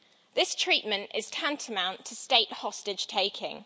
This treatment is tantamount to state hostage taking.